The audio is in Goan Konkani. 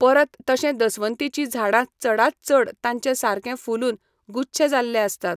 परत तशें दसवंतीचीं झाडां चडांत चड तांचे सारकें फुलून गुच्छे जाल्ले आसतात.